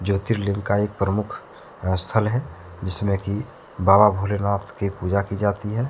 ज्योतिर्लिंग का एक प्रमुख स्थल है जिसमें की बाबा भोलेनाथ की पूजा की जाती है।